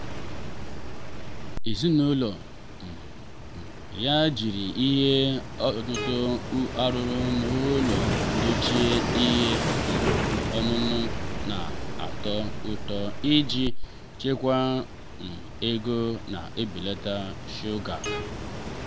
ezinụlọ um um ya jiri ihe ọṅụṅụ arụrụ n'ụlọ dochie ihe um ọṅụṅụ na-atọ ụtọ iji chekwaa um ego na ibelata shuga.